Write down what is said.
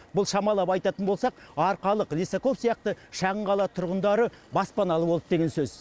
бұл шамалап айтатын болсақ арқалық лисаков сияқты шағын қала тұрғындары баспаналы болды деген сөз